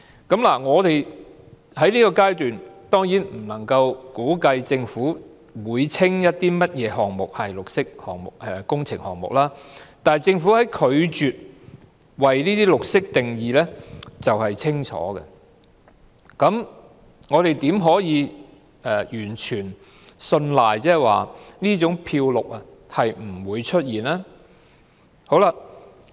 在現階段，我們未能估計政府會稱甚麼項目為綠色工程項目，但政府拒絕為"綠色"定義卻是清楚的事實，我們怎能確信不會出現這種"漂綠"情況呢？